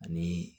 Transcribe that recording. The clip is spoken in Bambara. Ani